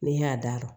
N'i y'a da